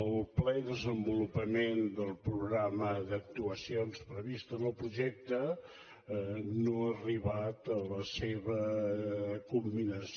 el ple desenvolupament del programa d’actuacions previst en el projecte no ha arribat a la seva culminació